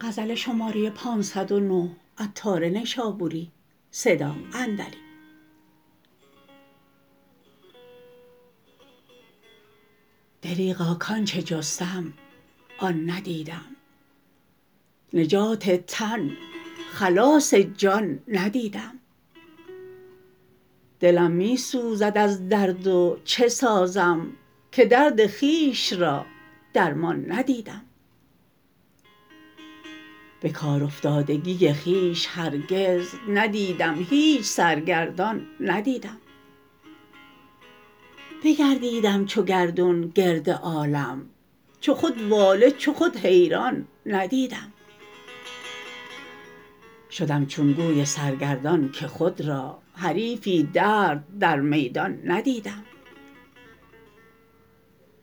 دریغا کانچه جستم آن ندیدم نجات تن خلاص جان ندیدم دلم می سوزد از درد و چه سازم که درد خویش را درمان ندیدم به کار افتادگی خویش هرگز ندیدم هیچ سرگردان ندیدم بگردیدم چو گردون گرد عالم چو خود واله چو خود حیران ندیدم شدم چون گوی سرگردان که خود را حریف درد در میدان ندیدم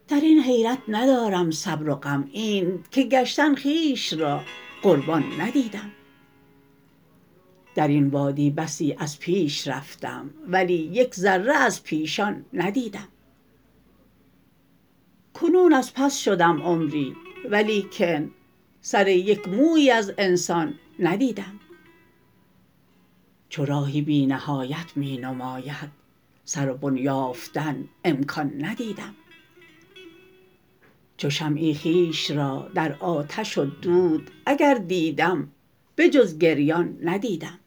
درین حیرت ندارم صبر و غم اینت که کشتن خویش را قربان ندیدم درین وادی بسی از پیش رفتم ولی یک ذره از پیشان ندیدم کنون از پس شدم عمری ولیکن سر یک مویی از انسان ندیدم چو راهی بی نهایت می نماید سر و بن یافتن امکان ندیدم چو شمعی خویش را در آتش و دود اگر دیدم به جز گریان ندیدم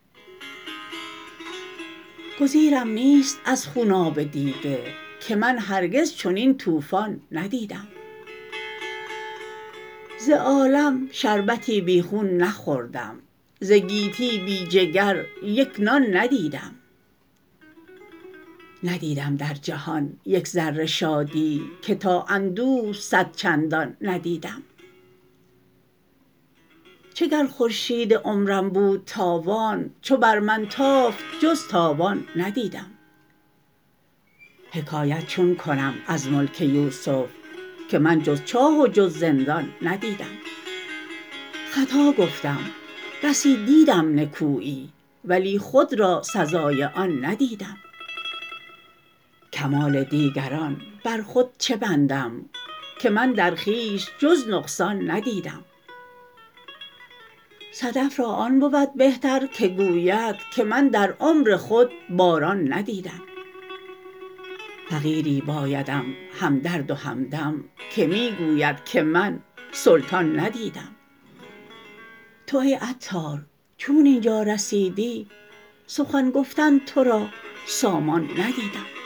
گزیرم نیست از خوناب دیده که من هرگز چنین طوفان ندیدم ز عالم شربتی بی خون نخوردم ز گیتی بی جگر یک نان ندیدم ندیدم در جهان یک ذره شادی که تا اندوه صد چندان ندیدم چه گر خورشید عمرم بود تابان چو بر من تافت جز تاوان ندیدم حکایت چون کنم از ملک یوسف که من جز چاه و جز زندان ندیدم خطا گفتم بسی دیدم نکویی ولی خود را سزای آن ندیدم کمال دیگران بر خود چه بندم که من در خویش جز نقصان ندیدم صدف را آن بود بهتر که گوید که من در عمر خود باران ندیدم فقیری بایدم همدرد و همدم که می گوید که من سلطان ندیدم تو ای عطار چون اینجا رسیدی سخن گفتن تورا سامان ندیدم